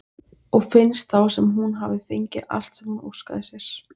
Og finnst þá sem hún hafi fengið allt sem hún óskaði sér.